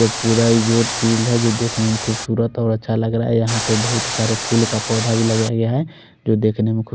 वो पूरा ही रूट हम देख के खुबसूरत और अच्छा लग रहा है यहाँ पर बोहोत सारा फूल का पोधा भी लगाया गया है जो देखने में खूब--